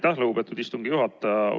Aitäh, lugupeetud istungi juhataja!